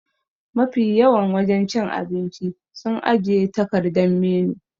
Ma fi yawan wajen cin abinci su ajiye takardan menu